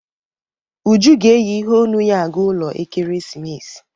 Uju ga-eyi iheonu ya aga ụlọ ekeresimesi